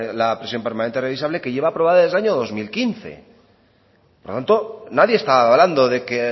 la prisión permanente revisable que lleva aprobada desde el año dos mil quince por lo tanto nadie está hablando de que